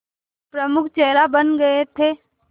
प्रमुख चेहरा बन गए थे